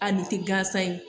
A ni tɛ gansan ye